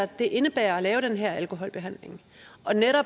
det indebærer at lave den her alkoholbehandling